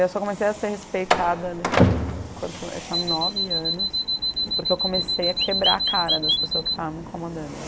Eu só comecei a ser respeitada deixa eu ver quando eu tinha nove anos, porque eu comecei a quebrar a cara das pessoas que estava me incomodando.